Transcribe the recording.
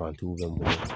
Fantigiw bɛ mun na